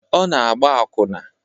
Ọ na-agba akwụna.